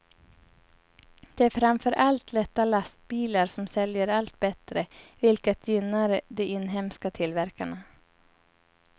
Det är framför allt lätta lastbilar som säljer allt bättre, vilket gynnar de inhemska tillverkarna.